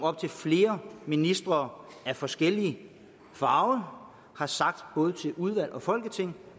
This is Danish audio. flere ministre af forskellig farve har sagt både til udvalg og folketing